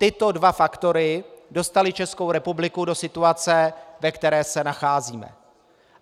Tyto dva faktory dostaly Českou republiku do situace, ve které se nacházíme.